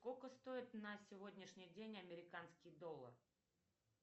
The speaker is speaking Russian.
сколько стоит на сегодняшний день американский доллар